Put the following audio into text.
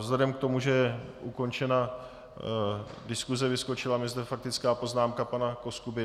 Vzhledem k tomu, že je ukončena diskuse, vyskočila mi zde faktická poznámka pana Koskuby.